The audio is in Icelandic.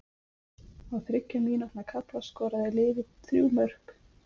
Á þriggja mínútna kafla skoraði liðið þrjú mörk.